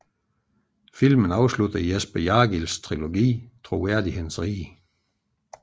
Filmen afslutter Jesper Jargils trilogi Troværdighedens rige